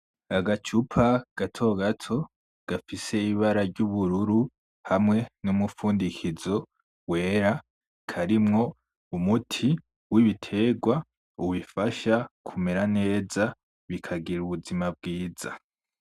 Agacupa gatogato gafise ibara ryubururu hamwe numufundikizo wera , karimwo umuti wibiterwa ubifasha kumera neza bikagira ubuzima bwiza .